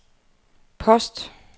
post